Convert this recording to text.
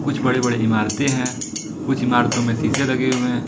कुछ बड़े बड़े इमारतें हैं कुछ ईमारतों में शीशे लगे हुए हैं।